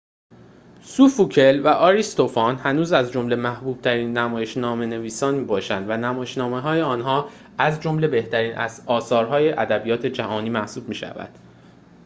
سوفوکل و آریستوفان هنوز از جمله محبوب‌ترین نمایش‌نامه‌نویسان می‌باشند و نمایش‌نامه‌های آنها از جمله بهترین اثرهای ادبیات جهانی محسوب می‌شوند